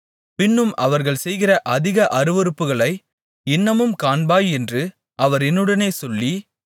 பின்னும் அவர்கள் செய்கிற அதிக அருவருப்புகளை இன்னமும் காண்பாய் என்று அவர் என்னுடனே சொல்லி